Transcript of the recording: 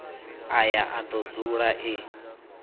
aya a do dzula e